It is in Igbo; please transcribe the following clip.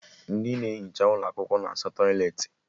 Ndị na-ehicha ụlọ akwụkwọ na asa tọịletị